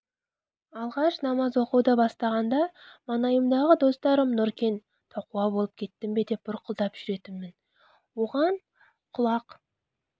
алғаш намаз оқуды бастағанда маңайымдағы достарым нұркен тақуа болып кеттің бе деп бұрқылдап жүретінмін оған құлақ